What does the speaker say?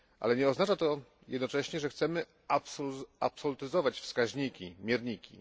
Nie oznacza to jednocześnie, że chcemy absolutyzować wskaźniki, mierniki.